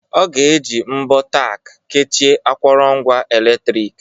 Ọ ga-eji mbọ Tack kechie akụrụngwa eletrik.